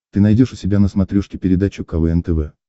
ты найдешь у себя на смотрешке передачу квн тв